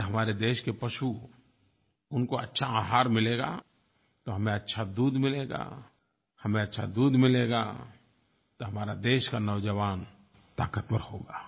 अगर हमारे देश के पशु उनको अच्छा आहार मिलेगा तो हमें अच्छा दूध मिलेगा हमें अच्छा दूध मिलेगा तो हमारा देश का नौजवान ताक़तवर होगा